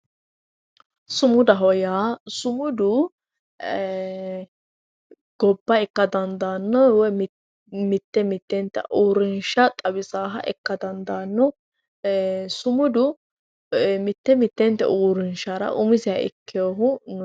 Sumudaho yaa, sumudu ee gobba ikka dandaano woyi mite mitetta uurinsha xawisanoha ikka dandaano sumudu mite mitete uurinshara umiseha ikkinohu no.